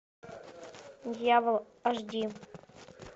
дьявол аш ди